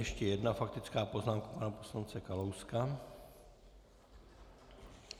Ještě jedna faktická poznámka pana poslance Kalouska.